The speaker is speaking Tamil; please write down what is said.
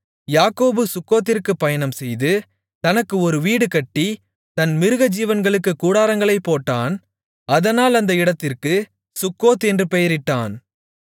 யாக்கோபு சுக்கோத்திற்குப் பயணம்செய்து தனக்கு ஒரு வீடு கட்டி தன் மிருகஜீவன்களுக்குக் கூடாரங்களைப் போட்டான் அதனால் அந்த இடத்திற்கு சுக்கோத் என்று பெயரிட்டான்